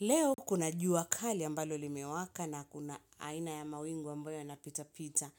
Leo kuna jua kali ambalo limewaka na kuna aina ya mawingu ambayo yanapitapita.